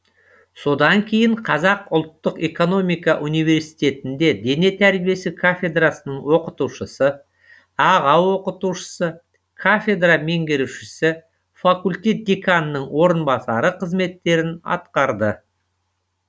содан кейін қазақ ұлттық экономика университетінде дене тәрбиесі кафедрасының оқытушысы аға оқытушысы кафедра меңгерушісі факультет деканының орынбасары қызметтерін атқарды